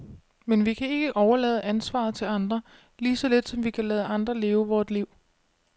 Men vi kan ikke overlade ansvaret til andre, lige så lidt som vi kan lade andre leve vort liv.